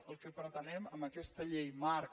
el que pretenem amb aquesta llei marc